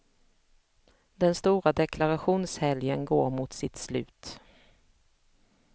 Den stora deklarationshelgen går mot sitt slut.